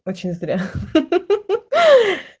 очень зря ха-ха